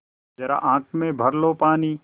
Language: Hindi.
ज़रा आँख में भर लो पानी